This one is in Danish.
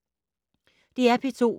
DR P2